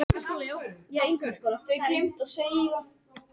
Ég myndi gjarnan vilja koma félaginu í Meistaradeildina.